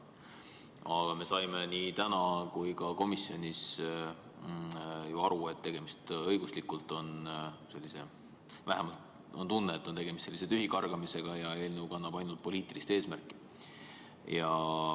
Aga me saime nii täna kui ka komisjonis ju aru, et õiguslikult on tegemist või vähemalt on tunne, et on tegemist tühikargamisega ja eelnõu kannab ainult poliitilist eesmärki.